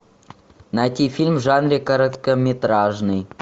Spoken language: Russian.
найти фильм в жанре короткометражный